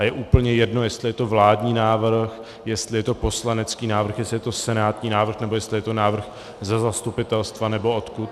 A je úplně jedno, jestli je to vládní návrh, jestli je to poslanecký návrh, jestli je to senátní návrh nebo jestli je to návrh ze zastupitelstva nebo odkud.